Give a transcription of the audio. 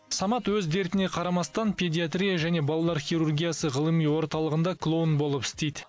самат өз дертіне қарамастан педиатрия және балалар хирургиясы ғылыми орталығында клоун болып істейді